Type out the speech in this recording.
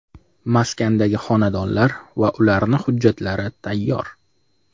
Maskandagi xonadonlar va ularni hujjatlari tayyor.